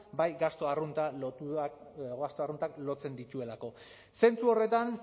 bai gastu arruntak lotzen dituelako zentzu horretan